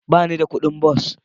Ba ni da kuɗin bas.